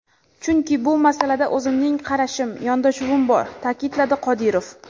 Chunki bu masalada o‘zimning qarashim, yondashuvim bor”, ta’kidladi Qodirov.